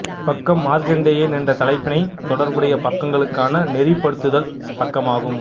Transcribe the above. இப்பக்கம் மார்க்கண்டேயன் என்ற தலைப்பினைத் தொடர்புடைய பக்கங்களுக்கான நெறிபடுத்துதல் பக்கமாகும்